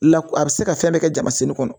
La a bɛ se ka fɛn bɛɛ kɛ jamasini kɔnɔ